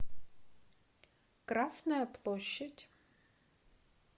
красная площадь